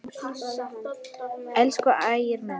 Elsku Ægir minn.